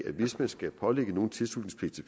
at hvis man skal pålægge nogen tilslutningspligt til